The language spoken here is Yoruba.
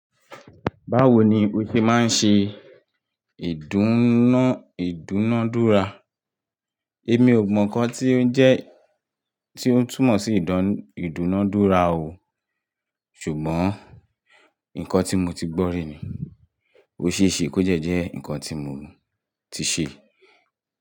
Báwo ni ó ṣe máa ń ṣe ìdúná, ìdúnádúrà? Èmi ò mọ nǹkan tí ó jẹ́ tí ó túmọ̀ sí ìdúnádúrà o. Ṣùgbọ́n nǹkan tí mo ti gbọ́ rí ni, ó ṣe é ṣe kó jẹ́ jẹ́ nǹkan tí mo ti ṣe.